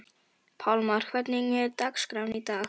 Pálmar, hvernig er dagskráin í dag?